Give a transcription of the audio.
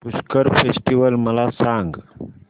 Pushkar festival मला सांग